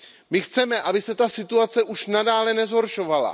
My chceme, aby se ta situace už nadále nezhoršovala.